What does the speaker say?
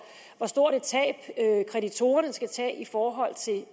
hvor stort et tab kreditorerne skal tage i forhold